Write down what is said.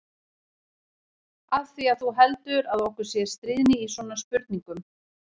Af því að þú heldur að okkur sé stríðni í svona spurningum.